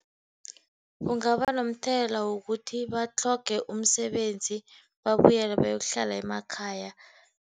Kungaba nomthelela wokuthi batlhoge umsebenzi, babuyele bayokuhlala emakhaya.